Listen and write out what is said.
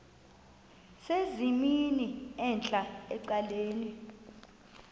sesimnini entla ecaleni